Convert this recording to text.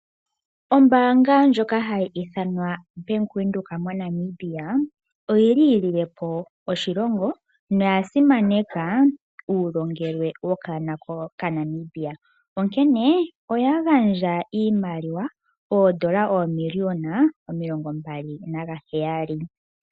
Ombaanga ndjoka hayi ithanwa bank Windhoek moNamibia oyi lilepo oshilongo noyasimaneka uulongelwe wokaana oka Namibia. Onkene oya gandja iimaliwa oondola omiliona omilongo mbali naheyali.